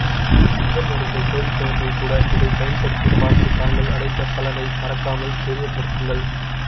சித்த மருந்தை சோதிப்பவர்கள் கூட இதை பயன்படுத்தி பார்த்து தாங்கள் அடைந்த பலனை மறக்காமல் தெரியப்படுத்துங்கள்